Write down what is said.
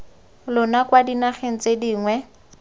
lona kwa dinageng tse dingwe